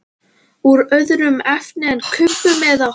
Úr öðru efni en kubbum eða?